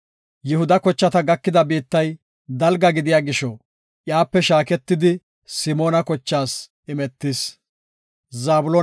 Yihuda kochata gakida biittay dalga gidida gisho, iyape shaaketidi, Simoona kochatas imetis.